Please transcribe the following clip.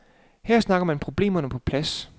Her snakker man problemerne på plads.